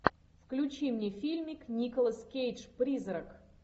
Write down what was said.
включи мне фильмик николас кейдж призрак